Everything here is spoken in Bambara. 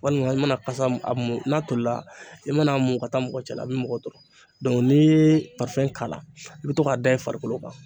Walima i mana kasa a mun n'a tolila i mana a mu ka taa mɔgɔ cɛla a bɛ mɔgɔ tɔɔrɔ n'i ye k'a la i bɛ to k'a da i farikolo kan